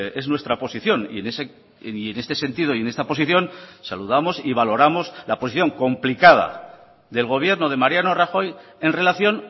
es nuestra posición y en este sentido y en esta posición saludamos y valoramos la posición complicada del gobierno de mariano rajoy en relación